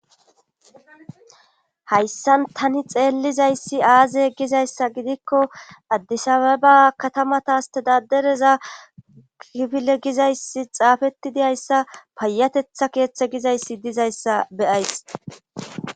Hayssan tani xeellizayssi aaze gizayssa gidikko addisabeba katamatastedadereza kifile gizayssi xaafetidiayssa payatetha keeththe gizayssi dizayssa beyays.